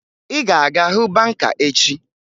Ị ga-aga hụ banka echi!